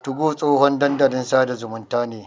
2go tsohon dandalin sada zumunta ne.